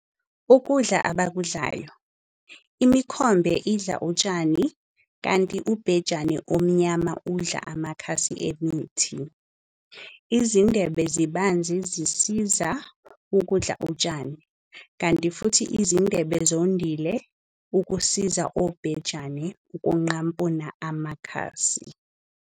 Ukudla Abakudlayo- Imikhombe idla utshani kanti ubhejane omnyama udla amakhasi emithi. Izindebe zibanzi zisiza ukudla utshani kanti futhi izindebe zondile ukusiza obhejane ukunqampuna amakhasi.